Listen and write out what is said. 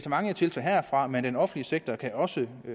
mange tiltag herfra men den offentlige sektor kan også